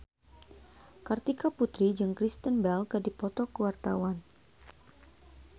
Kartika Putri jeung Kristen Bell keur dipoto ku wartawan